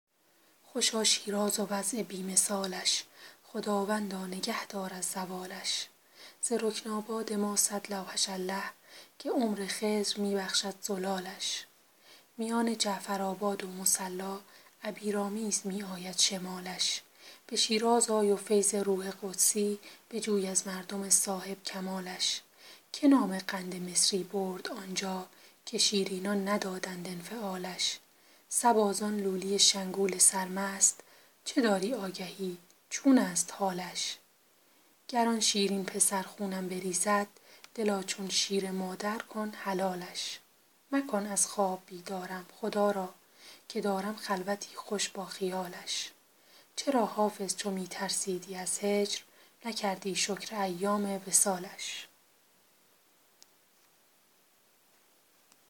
خوشا شیراز و وضع بی مثالش خداوندا نگه دار از زوالش ز رکن آباد ما صد لوحش الله که عمر خضر می بخشد زلالش میان جعفرآباد و مصلا عبیرآمیز می آید شمالش به شیراز آی و فیض روح قدسی بجوی از مردم صاحب کمالش که نام قند مصری برد آنجا که شیرینان ندادند انفعالش صبا زان لولی شنگول سرمست چه داری آگهی چون است حالش گر آن شیرین پسر خونم بریزد دلا چون شیر مادر کن حلالش مکن از خواب بیدارم خدا را که دارم خلوتی خوش با خیالش چرا حافظ چو می ترسیدی از هجر نکردی شکر ایام وصالش